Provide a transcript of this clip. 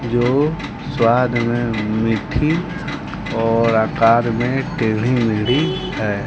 जो स्वाद हमें मीठी और आकार में टेड़ी मेड़ी है।